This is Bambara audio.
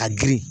A girin